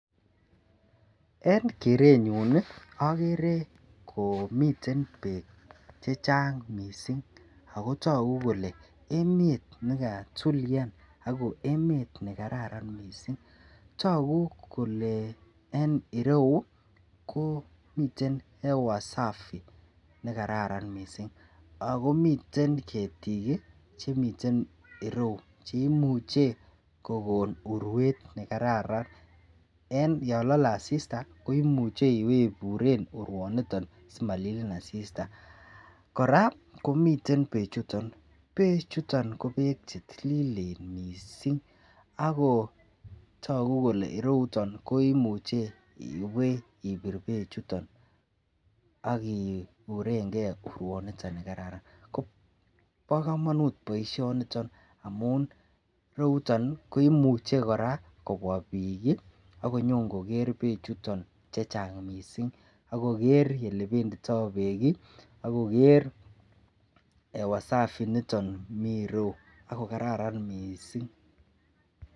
En kerenyun agere komiten bek chechang' mising' akotaku Kole emet nekatulian ako emet nekararan mising togu Kole ireyukomiten hewa Safi ako nekararan mising' akomiten ketik Chemiten irou cheimuche kokon urwet nekararan en yalale asista koimuche iwe iburen urwaniton simalilin asista koraa komiten bek chuton ,bek chuton ko bek chetililen mising' ako tagu Kole irouton imuche iwe ibir bek chuton akiuren gei urwet niton ko ba kamanut baishoni amun irouton kumuch koraa kobwa bik akonyobkoger bek chuton chechang mising agoger yelebenditoi bek agoger hewa Safi nitonmi irou akokararan baishoni kabisa